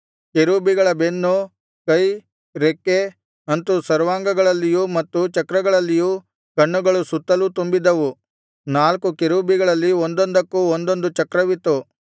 ಕೆರೂಬಿಗಳ ಬೆನ್ನು ಕೈ ರೆಕ್ಕೆ ಅಂತು ಸರ್ವಾಂಗಗಳಲ್ಲಿಯೂ ಮತ್ತು ಚಕ್ರಗಳಲ್ಲಿಯೂ ಕಣ್ಣುಗಳು ಸುತ್ತಲೂ ತುಂಬಿದ್ದವು ನಾಲ್ಕು ಕೆರೂಬಿಗಳಲ್ಲಿ ಒಂದೊಂದಕ್ಕೂ ಒಂದೊಂದು ಚಕ್ರವಿತ್ತು